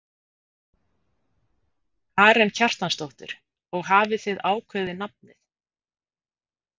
Karen Kjartansdóttir: Og hafið þið ákveðið nafnið?